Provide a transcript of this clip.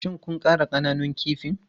Shin kun ƙara ƙananun kifin?